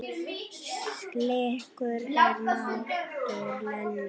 Slíkur er máttur Lenu.